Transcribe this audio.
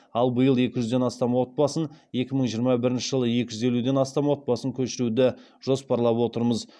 ал биыл екі жүзден астам отбасын екі мың жиырма бірінші жылы екі жүз елуден астам отбасын көшіруді жоспарлап отырмыз